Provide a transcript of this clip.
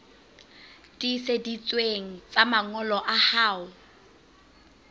tiiseditsweng tsa mangolo a hao